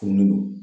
Furulen don